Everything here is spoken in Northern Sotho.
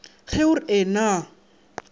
ge o re ee na